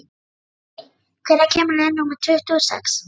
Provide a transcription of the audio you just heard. Minney, hvenær kemur leið númer tuttugu og sex?